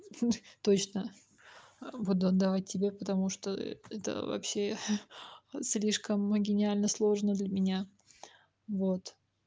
точно буду отдавать тебе потому что это вообще слишком гениально сложно для меня вот